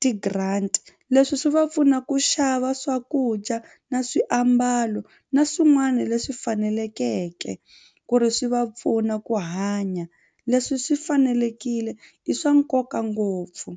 ti-grant leswi swi va pfuna ku xava swakudya na swiambalo na swin'wana leswi fanelekeke ku ri swi va pfuna ku hanya leswi swi fanelekile i swa nkoka ngopfu.